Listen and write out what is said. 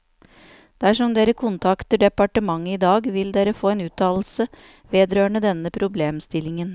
Dersom dere kontakter departementet i dag, vil dere få en uttalelse vedrørende denne problemstillingen.